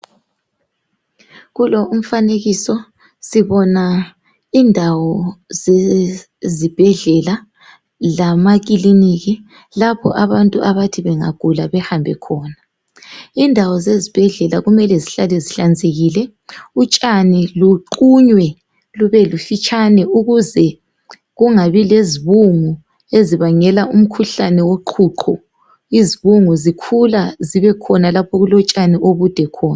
Kulo umfanekiso sibona indawo zezibhedlela lamacliniki lapho abantu abathi bengagula behambe khona indawo zezibhedlela kumele zihlale zinhlanzekile utshani luqunywe lube lifitshane ukuze kungabi lezibungu ezibangela umkhuhlane woqhuqhu izibungu zikhula zibekhona lapha okulotshani obude khona